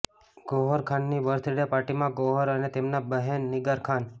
ગૌહર ખાનની birthday પાર્ટીમાં ગૌહર અને તેમના બહેન નિગાર ખાન